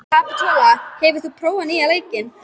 Kapitola, hefur þú prófað nýja leikinn?